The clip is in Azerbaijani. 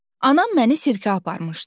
Anam məni sirkə aparmışdı.